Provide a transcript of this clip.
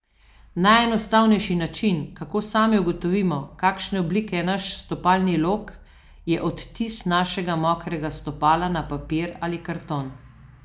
Najenostavnejši način, kako sami ugotovimo, kakšne oblike je naš stopalni lok, je odtis našega mokrega stopala na papir ali karton.